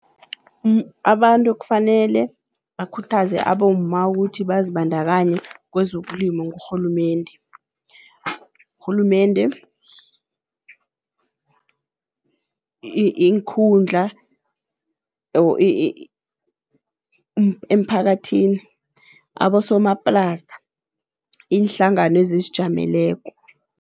Abantu ekufanele bakhuthaze abomma ukuthi bazibandakanye kwezokulima ngurhulumende. Urhulumende iinkhundla emphakathini abosomaplasa, iinhlangano ezizijameleko.